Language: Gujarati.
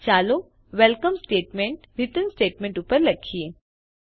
ચાલો વેલકમ સ્ટેટમેન્ટ રિટર્ન સ્ટેટમેન્ટ ઉપર લખીએ